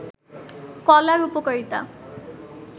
কলার উপকারিতা